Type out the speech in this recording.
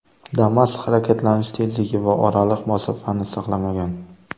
Damas harakatlanish tezligi va oraliq masofani saqlamagan.